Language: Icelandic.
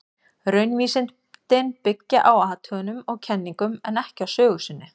Raunvísindin byggja á athugunum og kenningum, en ekki á sögu sinni.